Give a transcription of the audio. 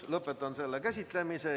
Lõpetan selle käsitlemise.